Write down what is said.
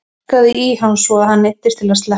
Ég sparkaði í hann svo að hann neyddist til að sleppa.